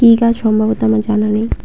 কি গাছ সম্ভবত আমার জানা নেই।